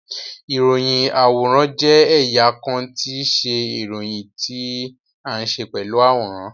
Iroyin-aworan jẹ ẹya kan ti iṣe iroyin ti a nṣe pelu aworan